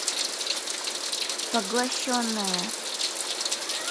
поглощенная